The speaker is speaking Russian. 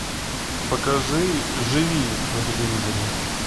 покажи живи на телевизоре